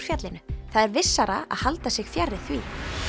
fjallinu það er vissara að halda sig fjarri því